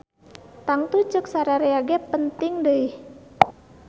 Tangtu cek sarerea ge penting deuih.